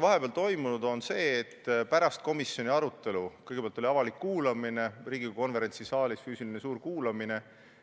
Vahepeal on toimunud see, et pärast komisjoni arutelu – kõigepealt oli avalik kuulamine Riigikogu konverentsisaalis, suur füüsiline kuulamine,